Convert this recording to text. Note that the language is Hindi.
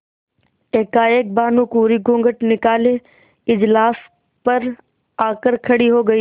एकाएक भानुकुँवरि घूँघट निकाले इजलास पर आ कर खड़ी हो गयी